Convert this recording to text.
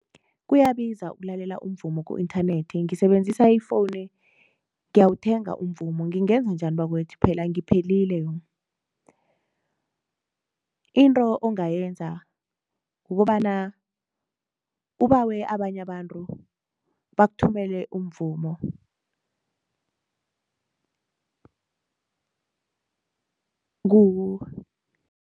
Kuyabiza ukulalela umvumo ku-inthanethi ngisebenzisa ifoni ngiyawuthenga umvumo, ngingenza njani bakwethu phela ngiphelile yong. Into ongayenza, kukobana ubawe abanye abantu bakuthumele umvumo ku